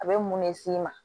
A bɛ mun ne s'i ma